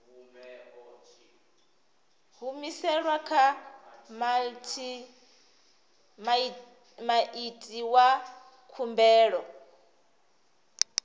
humiselwa kha muiti wa khumbelo